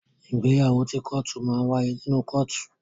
Ìgbéyàwó ti kọ́tù máa n waye nínú kọ́tù.